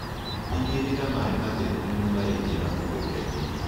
Tĩgĩrĩra maĩ matheru nĩmo maraingĩra mũgundainĩ.